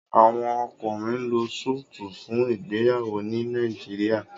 Àwọn ọkùnrin ló Súìtì fún ìgbéyàwó ní Nàìjíríà.